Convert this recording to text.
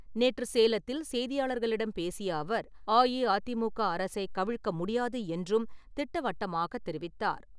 நேற்று சேலத்தில் செய்தியாளர்களிடம் பேசிய அவர், அஇஅதிமுக அரசை கவிழ்க்க முடியாது என்றும் திட்டவட்டமாக தெரிவித்தார்.